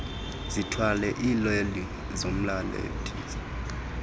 zithwale iileli zomalathisi